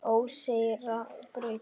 Óseyrarbraut